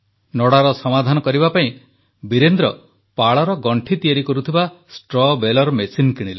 ନଡ଼ାର ସମାଧାନ କରିବା ପାଇଁ ବୀରେନ୍ଦ୍ର ପାଳର ଗଣ୍ଠି ତିଆରି କରୁଥିବା ଷ୍ଟ୍ରୱ୍ ବାଲେର ମେସିନ୍ କିଣିଲେ